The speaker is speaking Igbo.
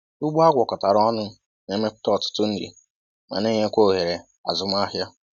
Ugbo agwakọtara ọnụ na-emepụta ọtụtụ nri ma na enyekwa ohere azụmahịa.